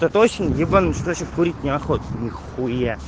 ты точно ебанулась курить неохота вообще нихуя